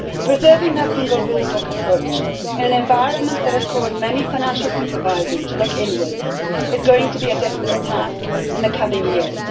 Preserving that single rule book approach in an environment which has caused many financial supervisors to look inwards is going to be a difficult task in the coming years.